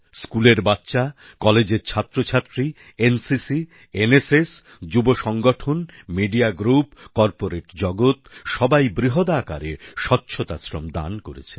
স্কুলের বাচ্চা কলেজের ছাত্র ছাত্রী N C C N S S যুব সংগঠন মিডিয়া গ্রুপ কর্পোরেট জগত সবাই বৃহদাকারে স্বচ্ছতা শ্রম দান করেছেন